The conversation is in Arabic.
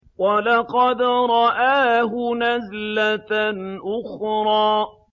وَلَقَدْ رَآهُ نَزْلَةً أُخْرَىٰ